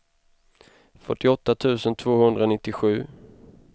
fyrtioåtta tusen tvåhundranittiosju